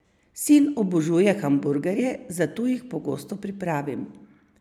Sin obožuje hamburgerje, zato jih pogosto pripravim.